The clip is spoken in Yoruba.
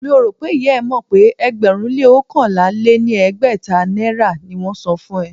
Mi ò rò pé ìyá e mọ̀ pé ẹgbẹ̀rún-lé-oókànlá-lé-ní-ẹgbẹ́ta naira ni wón ń san fún ẹ.